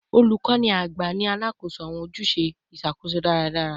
Olukọni agba ni alakoso awọn ojuse iṣakoso daradara